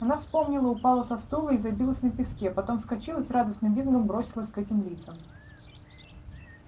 она вспомнила упала со стула и забилась на песке потом вскочила и с радостным визгом бросилась к этим лицам